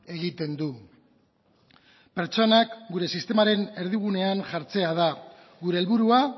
egiten du pertsonak gure sistemaren erdigunean jartzea da gure helburua